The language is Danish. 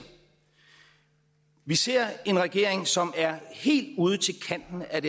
vi ser en regering som er helt ud til kanten af